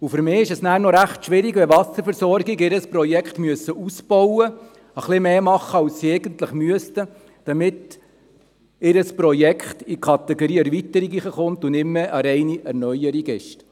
Für mich ist es schwierig, wenn Wasserversorgungen ihr Projekt ausbauen müssen und etwas mehr machen, als sie eigentlich müssten, damit ihr Projekt in die Kategorie Erweiterung gelangt und nicht mehr eine reine Erneuerung ist.